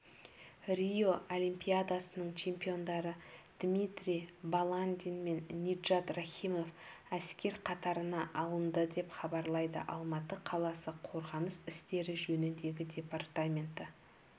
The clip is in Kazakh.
рио олимпиадасының чемпиондары дмитрий баландин мен ниджат рахимов әскер қатарына алынды деп хабарлайды алматы қаласы қорғаныс істері жөніндегі департаменті